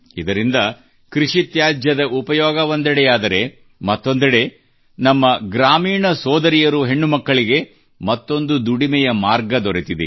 ಇದರಿಂದ ಕೃಷಿ ತ್ಯಾಜ್ಯದ ಉಪಯೋಗ ಒಂದೆಡೆಯಾದರೆ ಮತ್ತೊಂದೆಡೆ ಗ್ರಾಮೀಣ ನಮ್ಮ ಸೋದರಿಯರು ಹೆಣ್ಣು ಮಕ್ಕಳಿಗೆ ಮತ್ತೊಂದು ದುಡಿಮೆಯ ಮಾರ್ಗ ದೊರೆತಿದೆ